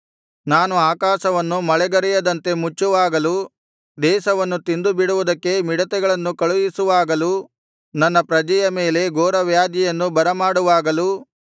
ನಾನು ಆಕಾಶವನ್ನು ಮಳೆಗರೆಯದಂತೆ ಮುಚ್ಚುವಾಗಲೂ ದೇಶವನ್ನು ತಿಂದು ಬಿಡುವುದಕ್ಕೆ ಮಿಡತೆಗಳನ್ನು ಕಳುಹಿಸುವಾಗಲೂ ನನ್ನ ಪ್ರಜೆಯ ಮೇಲೆ ಘೋರವ್ಯಾಧಿಯನ್ನು ಬರಮಾಡುವಾಗಲೂ